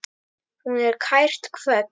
Hún er kært kvödd.